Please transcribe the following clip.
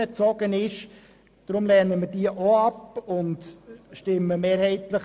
Deshalb lehnen wir auch diese Planungserklärung ab.